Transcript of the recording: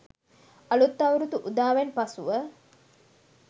අලුත් අවුරුදු උදාවෙන් පසුව